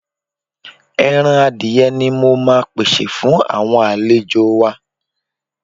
Ẹran adìye ni mo máa pèsè fún àwọn àlejò wa.